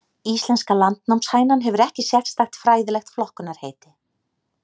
Íslenska landnámshænan hefur ekki sérstakt fræðilegt flokkunarheiti.